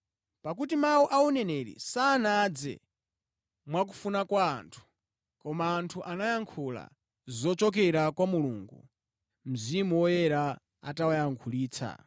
Pakuti mawu a uneneri sanadze mwa kufuna kwa anthu, koma anthu anayankhula zochokera kwa Mulungu, Mzimu Woyera atawayankhulitsa.